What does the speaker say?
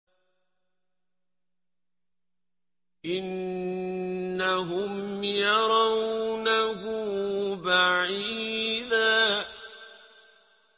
إِنَّهُمْ يَرَوْنَهُ بَعِيدًا